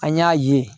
An y'a ye